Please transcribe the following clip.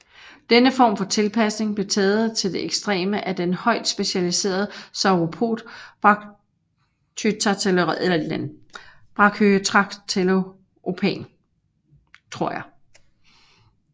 Denne form for tilpasning blev taget til det ekstreme af den højt specialiserede sauropod Brachytrachelopan